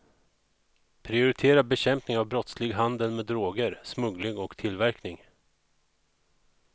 Prioritera bekämpning av brottslig handel med droger, smuggling och tillverkning.